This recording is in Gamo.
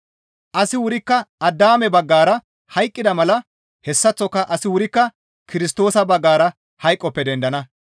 Asi wurikka Addaame baggara hayqqida mala hessaththoka asi wurikka Kirstoosa baggara hayqoppe dendana.